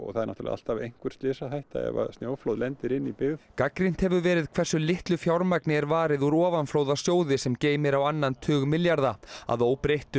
það er náttúrulega alltaf einhver slysahætta ef snjóflóð lendir inn í byggð gagnrýnt hefur verið hversu litlu fjármagni er varið úr ofanflóðasjóði sem geymir á annan tug milljarða að óbreyttu